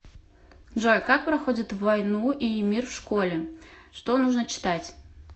джой как проходят войну и мир в школе что нужно читать